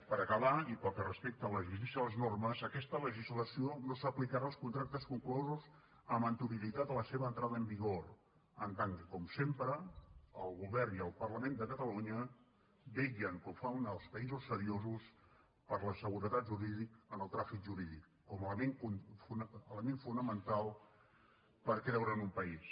per acabar i pel que respecta a la vigència de les normes aquesta legislació no s’aplicarà als contractes conclosos amb anterioritat a la seva entrada en vigor en tant que com sempre el govern i el parlament de catalunya vetllen com fan els països seriosos per la seguretat jurídica com a element fonamental per creure en un país